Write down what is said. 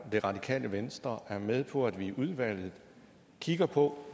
det radikale venstre er med på at vi i udvalget kigger på